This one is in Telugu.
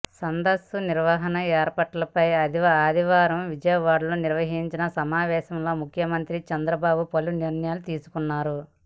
సదస్సు నిర్వహణ ఏర్పాట్లపై ఆదివారం విజయవాడలో నిర్వహించిన సమావేశంలో ముఖ్యమంత్రి చంద్రబాబు పలు నిర్ణయాలు తీసుకున్నారు